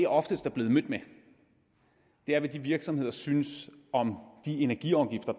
oftest er blevet mødt med er hvad de virksomheder synes om de energiafgifter